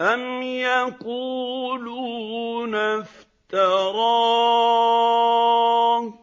أَمْ يَقُولُونَ افْتَرَاهُ ۖ